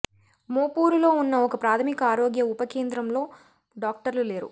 మోపూరులో ఉన్న ఒక ప్రాథమిక ఆరోగ్య ఉప కేంద్రంలో డాక్టర్లు లేరు